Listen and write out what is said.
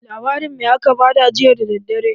Labarin me a ka ba ka jiya da daddare?